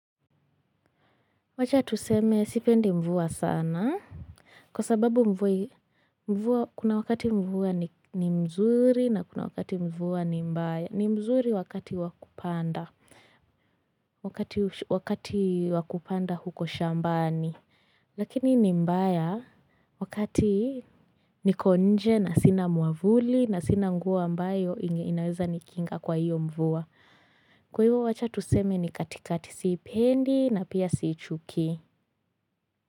Wacha tuseme sipendi mvua sana kwa sababu mvua kuna wakati mvua ni mzuri na kuna wakati mvua ni mbaya ni mzuri wakati wa kupanda, wakati wa kupanda huko shambani lakini ni mbaya wakati niko nje na sina mwavuli na sina nguo ambayo inaweza nikinga kwa hiyo mvua. Kwa hivyo wacha tuseme ni katikati siipendi na pia siichuki.